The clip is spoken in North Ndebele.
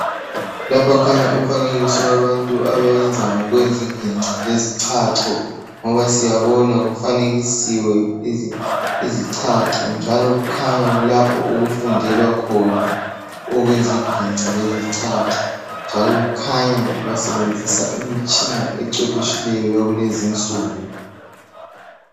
Lapha kukhanya ufaneliso wabantu abenza ngokwezi ziginci lezichacho ngoba siyabona kufanekisiwe izichacho njalo kukhanya kulapho okufundelwa khona iziginci le zichacho njalo kukhanya basebenzisa imitshini encwephetshileyo yakulezi insuku.